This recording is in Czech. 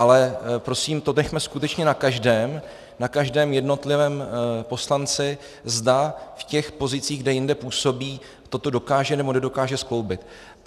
Ale prosím, to nechme skutečně na každém, na každém jednotlivém poslanci, zda v těch pozicích, kde jinde působí, toto dokáže nebo nedokáže skloubit.